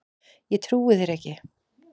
Ég trúi þér ekki.